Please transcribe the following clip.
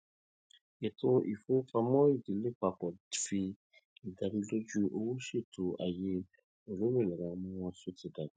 ètò ìfowópamọ ìdílé pápọ fi ìdánilójú owó ṣètò ayé olómìnira ọmọ wọn tó ti dàgbà